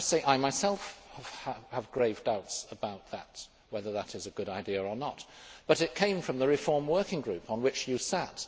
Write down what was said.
I myself have grave doubts about whether that is a good idea or not, but it came from the reform working group on which you sat.